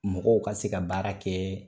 Mɔgɔw ka se ka baara kɛ